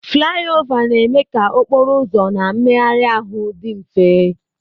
Flaiova na-eme ka okporo ụzọ na mmegharị ahụ dị mfe.